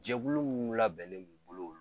Jɛkulu mun labɛnnen b'u bolo